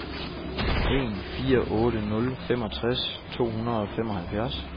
en fire otte nul femogtres to hundrede og femoghalvfjerds